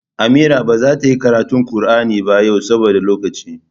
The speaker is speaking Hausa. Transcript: Amira ba zata yi karatu Kur'ani ba yawa saboda lokaci